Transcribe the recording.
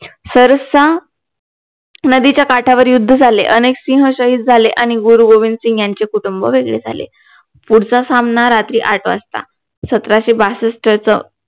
सरसा नदीच्या काठावर युद्ध झाले अनेक सिह शाहिद झाले आणि गुरु गोबिंदसिंघ यांचे कुटुंब वेगळे झाले पुढचा सामना रात्री आठ वाजता सतराशे बासष्टचं